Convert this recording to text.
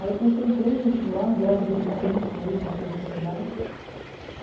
Aí eu prestei três vestibular, graças a Deus eu passei nos três, nas três faculdades.